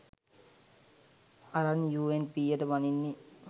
අරං යූඑන්පීයට බනින්නේ.